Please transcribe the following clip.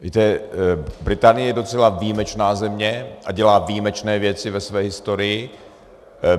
Víte, Británie je docela výjimečná země a dělá výjimečné věci ve své historii.